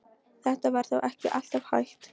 Þetta var þó ekki alltaf hægt.